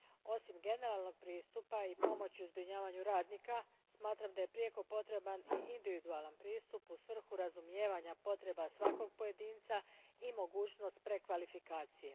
Osim generalnog pristupa i pomoći u zbrinjavanju radnika, smatram da je prijeko potreban i individualan pristup u svrhu razumijevanja potreba svakog pojedinca i mogućnost prekvalifikacije.